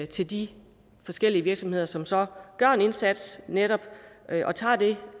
til de forskellige virksomheder som så gør en indsats og netop tager det